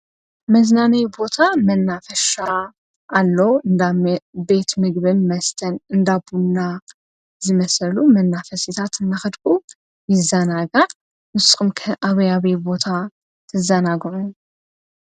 መዝናነይ ቦታ መናፈሻ ኣሎ ብቤት ምግብን መስተን እንዳቡና ይመሰሉ መናፈሲታት እመኽድቁ ይዛናጋ ምስምከ ኣብያቤ ቦታ ትዘናግሩ።